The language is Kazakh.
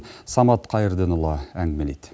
самат қайырденұлы әңгімелейді